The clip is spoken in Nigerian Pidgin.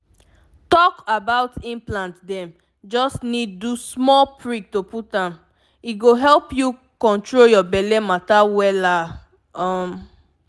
talk about implant dem just need do small prick to put m— e go help you control your belle matter wela um.